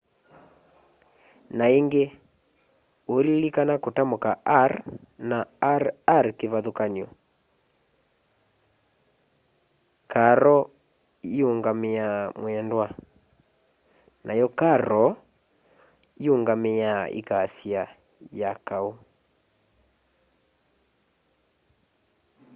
na ingi uililikana kutamuka r na rr kivathukanio caro iungamiaa mwendwa nayo carro iungamiaa ikasya ya kau